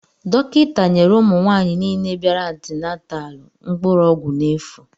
Dọkịta nyere ụmụ nwaanyị nile bịara antinataalu mkpụrụ ọgwụ n'efu.